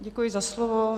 Děkuji za slovo.